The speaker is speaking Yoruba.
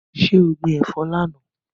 So gbin ẹ̀fọ́ lánàá?